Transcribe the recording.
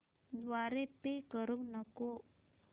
द्वारे पे करू नको